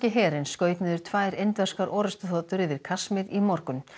herinn skaut niður tvær indverskar orrustuþotur yfir Kasmír í morgun